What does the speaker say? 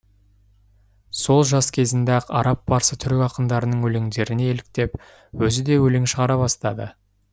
сол жас кезінде ақ араб парсы түрік ақындарының өлеңдеріне еліктеп өзі де өлең шығара бастады